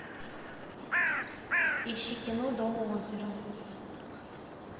ищи кино дом у озера